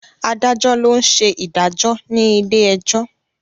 Adájọ́ ló ń ṣe ìdájọ́ ní ilé ẹjọ́.